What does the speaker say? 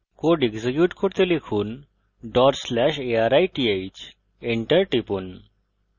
code execute করতে লিখুন/arith enter টিপুন